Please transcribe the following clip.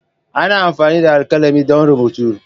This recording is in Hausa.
Ana amfani da alkalami don rubutu.